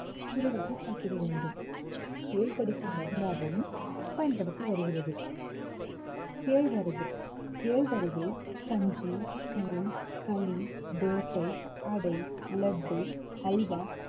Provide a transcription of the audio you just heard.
குறைவாக சாப்பிட வேண்டும் தேள் கடிக்கு மருந்தாகவும் பயன்படுத்தி வருகிறது கேழ்வரகு கேழ்வரகை கஞ்சி, கூழ், களி, தோசை, அடை, லட்டு, அல்வா